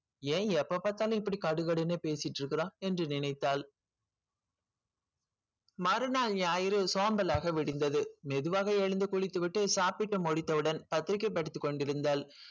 ஏன் எப்ப பாத்தாலும் இப்படி கடுகடுன்னு பேசிட்டு இருக்கிறான் என்று நினைத்தாள் மறுநாள் ஞாயிறு சோம்பலாக விடிந்தது மெதுவாக எழுந்து குளித்துவிட்டு சாப்பிட்டு முடித்தவுடன் பத்திரிகை படித்துக் கொண்டிருந்தாள்